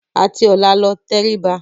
Àti ọ̀la lọ, tẹrí ba.